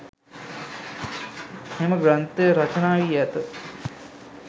මෙම ග්‍රන්ථය රචනා වී ඇත.